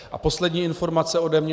A poslední informace ode mě.